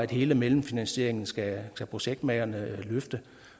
hele mellemfinansieringen skal af projektmagerne